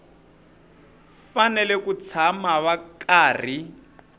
fanele ku tshama va karhi